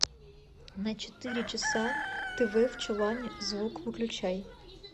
на четыре часа тв в чулане звук выключай